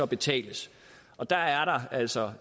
betales og der er der altså